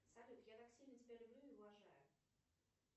салют я так сильно тебя люблю и уважаю